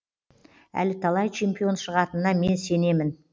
әлі талай чемпион шығатынына мен сенемін